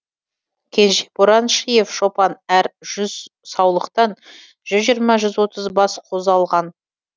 кенже бораншиев шопан әр жүз саулықтан жүз жиырма жүз отыз бас қозы алған